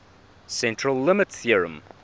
central limit theorem